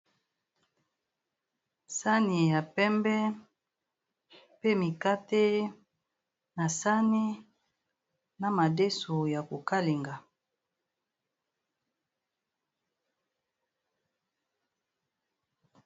sani ya pembe pe mikate na sani na madeso ya kokalenga